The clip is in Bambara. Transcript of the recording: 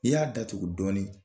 I y'a datugu dɔɔnin